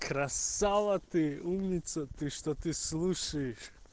красава ты умница ты что ты слушаешь